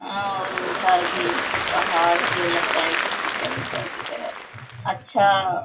हाँ और उधर भी पहाड़ से लगता है की कीचड़ उचड़ की तरह अच्छा --